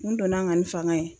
Kun donna n kan ni fanga ye